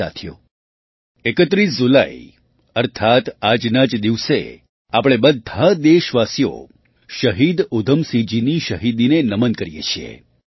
સાથીઓ ૩૧ જુલાઈ અર્થાત્ આજના જ દિવસે આપણે બધાં દેશવાસીઓ શહીદ ઉધમસિંહજીની શહીદીને નમન કરીએ છીએ